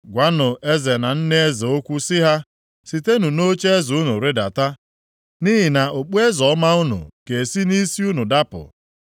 Gwanụ eze na nne eze okwu sị ha, “Sitenụ nʼocheeze unu rịdata, nʼihi na okpueze ọma unu ga-esi nʼisi unu dapụ.”